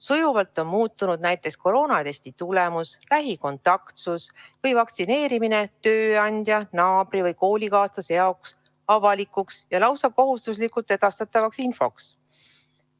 Sujuvalt on muutunud näiteks koroonatesti tulemus, lähikontaktsus või vaktsineerimine tööandja, naabri või koolikaaslase jaoks avalikuks ja lausa kohustuslikult edastatavaks infoks.